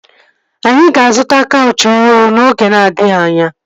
Anyị ga-azụta kaụchị ọhụrụ oge na-adịghị anya